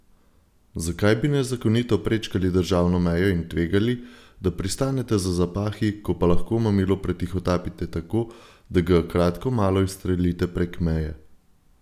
Zakaj bi nezakonito prečkali državno mejo in tvegali, da pristanete za zapahi, ko pa lahko mamilo pretihotapite tako, da ga kratko malo izstrelite prek meje?